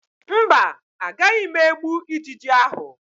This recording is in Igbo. Mba, agaghị m egbu ijiji ahụ